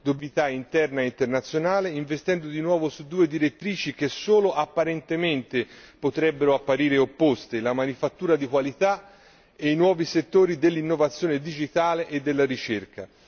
Dobbiamo recuperare competitività interna e internazionale, investendo di nuovo su due direttrici che solo apparentemente potrebbero apparire opposte la manifattura di qualità e i nuovi settori dell'innovazione digitale e della ricerca.